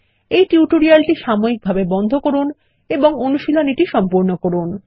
এই টিউটোরিয়ালটি সাময়িকভাবে বন্ধ করুন এবং অনুশীলনীটি করুন